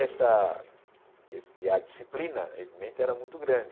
Essa esse e a disciplina, evidente, era muito grande.